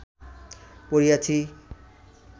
পড়িয়াছি